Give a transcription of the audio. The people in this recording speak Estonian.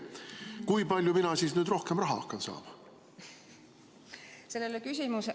Kui palju mina nüüd rohkem raha hakkan saama?